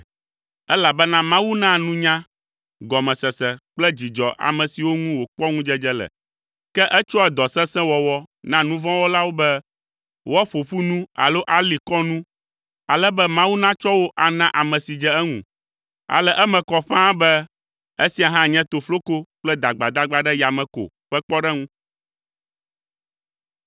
Elabena Mawu naa nunya, gɔmesese kple dzidzɔ ame siwo ŋu wòkpɔ ŋudzedze le, ke etsɔa dɔ sesẽ wɔwɔ na nu vɔ̃ wɔlawo be woaƒo ƒu nu alo ali kɔ nu, ale be Mawu natsɔ wo ana ame si dze eŋu. Ale eme kɔ ƒãa be esia hã nye tofloko kple dagbadagba ɖe yame ko ƒe kpɔɖeŋu.